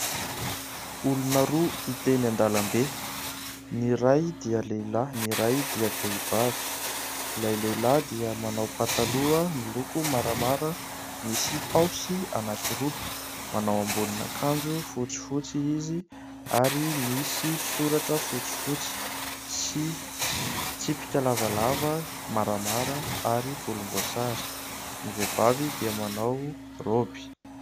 Olona roa hita eny an-dalambe ny iray dia lahy ny iray dia vehivavy. llay lehilahy dia manao pataloha miloko maramara misy paosy anankiroa, manao ambonin'akanjo fotsifotsy izy ary misy soratra fotsifotsy sy tsipika lavalava maramara ary volombosary. Ny vehivavy dia manao roby.